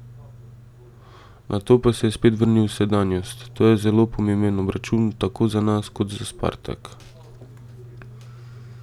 Nato pa se je spet vrnil v sedanjost: "To je zelo pomemben obračun tako za nas kot za Spartak.